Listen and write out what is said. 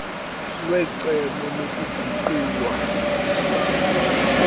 kwecebo lokuguqulwa kukasaa